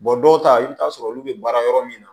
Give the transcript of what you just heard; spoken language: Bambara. dɔw ta i bɛ taa sɔrɔ olu bɛ baara yɔrɔ min na